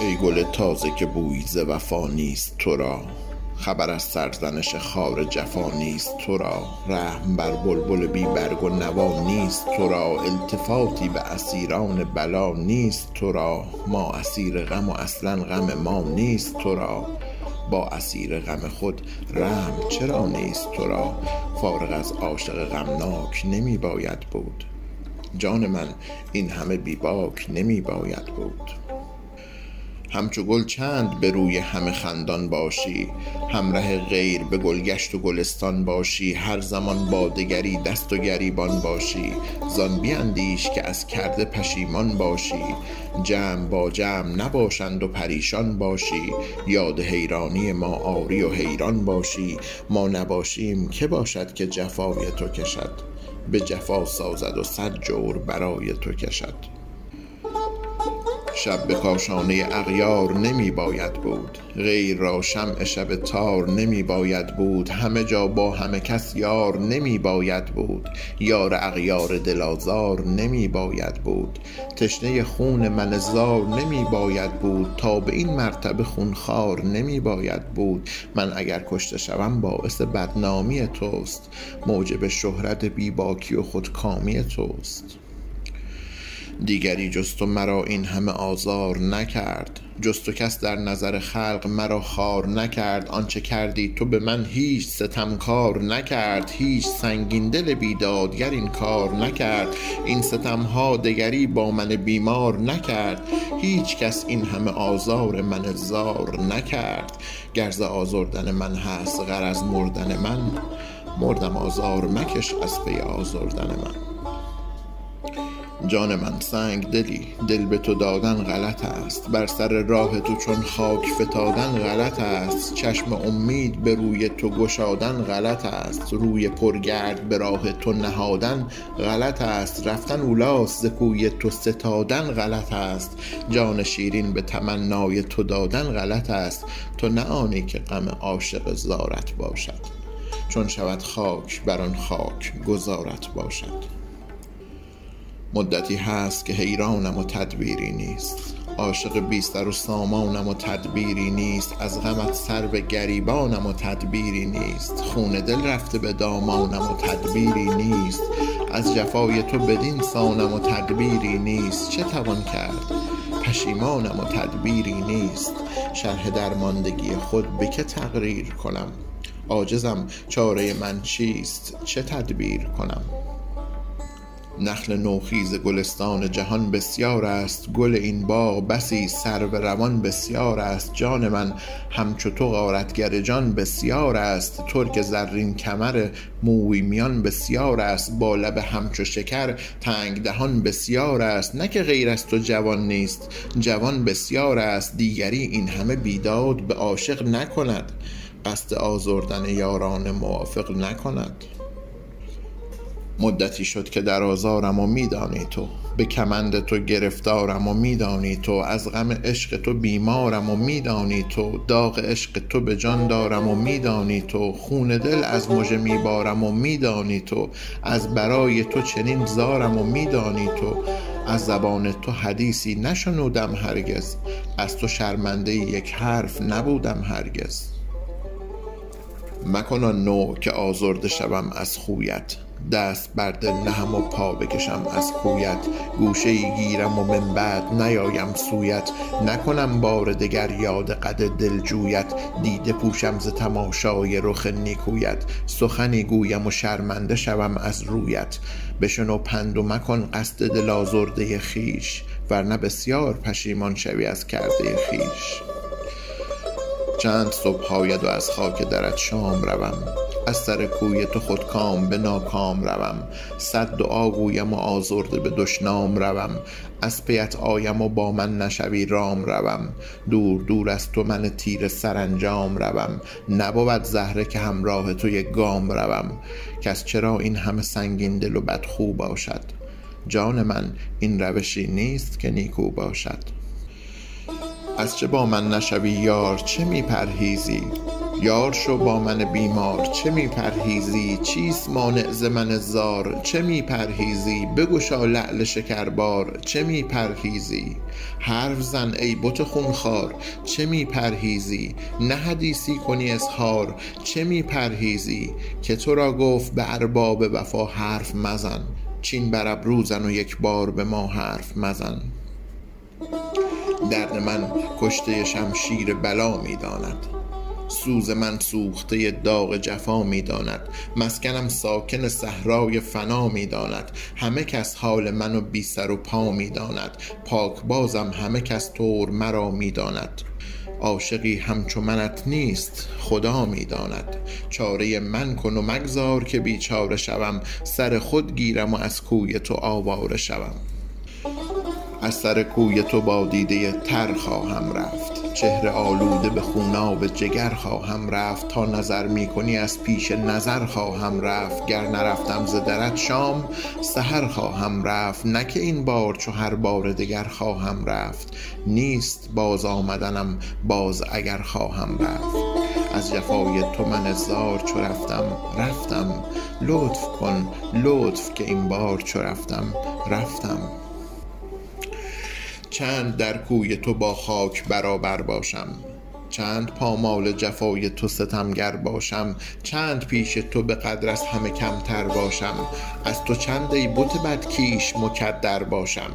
ای گل تازه که بویی ز وفا نیست تو را خبر از سرزنش خار جفا نیست تو را رحم بر بلبل بی برگ و نوا نیست تو را التفاتی به اسیران بلا نیست تو را ما اسیر غم و اصلا غم ما نیست تو را با اسیر غم خود رحم چرا نیست تو را فارغ از عاشق غمناک نمی باید بود جان من این همه بی باک نمی باید بود همچو گل چند به روی همه خندان باشی هم ره غیر به گلگشت گلستان باشی هر زمان با دگری دست و گریبان باشی زآن بیندیش که از کرده پشیمان باشی جمع با جمع نباشند و پریشان باشی یاد حیرانی ما آری و حیران باشی ما نباشیم که باشد که جفای تو کشد به جفا سازد و صد جور برای تو کشد شب به کاشانه اغیار نمی باید بود غیر را شمع شب تار نمی باید بود همه جا با همه کس یار نمی باید بود یار اغیار دل آزار نمی باید بود تشنه خون من زار نمی باید بود تا به این مرتبه خون خوار نمی باید بود من اگر کشته شوم باعث بدنامی توست موجب شهرت بی باکی و خودکامی توست دیگری جز تو مرا این همه آزار نکرد جز تو کس در نظر خلق مرا خوار نکرد آن چه کردی تو به من هیچ ستمکار نکرد هیچ سنگین دل بیدادگر این کار نکرد این ستم ها دگری با من بیمار نکرد هیچ کس این همه آزار من زار نکرد گر ز آزردن من هست غرض مردن من مردم آزار مکش از پی آزردن من جان من سنگ دلی دل به تو دادن غلط است بر سر راه تو چون خاک فتادن غلط است چشم امید به روی تو گشادن غلط است روی پر گرد به راه تو نهادن غلط است رفتن اولاست ز کوی تو ستادن غلط است جان شیرین به تمنای تو دادن غلط است تو نه آنی که غم عاشق زارت باشد چون شود خاک بر آن خاک گذارت باشد مدتی هست که حیرانم و تدبیری نیست عاشق بی سر و سامانم و تدبیری نیست از غمت سر به گریبانم و تدبیری نیست خون دل رفته به دامانم و تدبیری نیست از جفای تو بدین سانم و تدبیری نیست چه توان کرد پشیمانم و تدبیری نیست شرح درماندگی خود به که تقریر کنم عاجزم چاره من چیست چه تدبیر کنم نخل نوخیز گلستان جهان بسیار است گل این باغ بسی سرو روان بسیار است جان من همچو تو غارتگر جان بسیار است ترک زرین کمر موی میان بسیار است با لب همچو شکر تنگ دهان بسیار است نه که غیر از تو جوان نیست جوان بسیار است دیگری این همه بیداد به عاشق نکند قصد آزردن یاران موافق نکند مدتی شد که در آزارم و می دانی تو به کمند تو گرفتارم و می دانی تو از غم عشق تو بیمارم و می دانی تو داغ عشق تو به جان دارم و می دانی تو خون دل از مژه می بارم و می دانی تو از برای تو چنین زارم و می دانی تو از زبان تو حدیثی نشنودم هرگز از تو شرمنده یک حرف نبودم هرگز مکن آن نوع که آزرده شوم از خویت دست بر دل نهم و پا بکشم از کویت گوشه ای گیرم و من بعد نیایم سویت نکنم بار دگر یاد قد دل جویت دیده پوشم ز تماشای رخ نیکویت سخنی گویم و شرمنده شوم از رویت بشنو پند و مکن قصد دل آزرده خویش ور نه بسیار پشیمان شوی از کرده خویش چند صبح آیم و از خاک درت شام روم از سر کوی تو خودکام به ناکام روم صد دعا گویم و آزرده به دشنام روم از پی ات آیم و با من نشوی رام روم دور دور از تو من تیره سرانجام روم نبود زهره که همراه تو یک گام روم کس چرا این همه سنگین دل و بدخو باشد جان من این روشی نیست که نیکو باشد از چه با من نشوی یار چه می پرهیزی یار شو با من بیمار چه می پرهیزی چیست مانع ز من زار چه می پرهیزی بگشا لعل شکربار چه می پرهیزی حرف زن ای بت خون خوار چه می پرهیزی نه حدیثی کنی اظهار چه می پرهیزی که تو را گفت به ارباب وفا حرف مزن چین بر ابرو زن و یک بار به ما حرف مزن درد من کشته شمشیر بلا می داند سوز من سوخته داغ جفا می داند مسکنم ساکن صحرای فنا می داند همه کس حال من بی سر و پا می داند پاک بازم همه کس طور مرا می داند عاشقی همچو منت نیست خدا می داند چاره من کن و مگذار که بیچاره شوم سر خود گیرم و از کوی تو آواره شوم از سر کوی تو با دیده تر خواهم رفت چهره آلوده به خوناب جگر خواهم رفت تا نظر می کنی از پیش نظر خواهم رفت گر نرفتم ز درت شام سحر خواهم رفت نه که این بار چو هر بار دگر خواهم رفت نیست بازآمدنم باز اگر خواهم رفت از جفای تو من زار چو رفتم رفتم لطف کن لطف که این بار چو رفتم رفتم چند در کوی تو با خاک برابر باشم چند پامال جفای تو ستمگر باشم چند پیش تو به قدر از همه کمتر باشم از تو چند ای بت بدکیش مکدر باشم